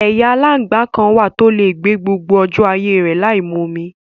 Ẹ̀yà aláǹgbá kan wà tó lè gbé gbogbo ọjọ́ ayé rè láìmu omi.